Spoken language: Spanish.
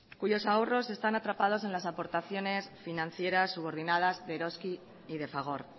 cuyos ahorros están atrapados en las aportaciones financieras subordinadas de eroski y de fagor